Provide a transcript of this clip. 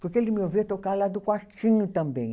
Porque ele me ouvia tocar lá do quartinho também.